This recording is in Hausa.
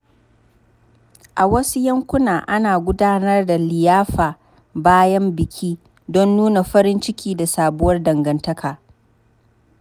A wasu yankuna, ana gudanar da liyafa bayan biki don nuna farin ciki da sabuwar dangantaka.